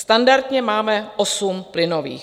Standardně máme osm plynových.